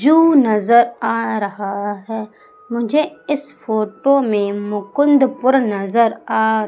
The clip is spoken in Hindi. जो नजर आ रहा है मुझे इस फोटो में मुकुंदपुर नजर आ--